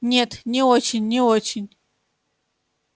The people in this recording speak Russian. нет не очень не очень